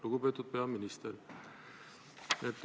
Lugupeetud peaminister!